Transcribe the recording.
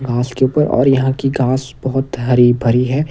घास के ऊपर और यहां की घास बहुत हरी भरी है।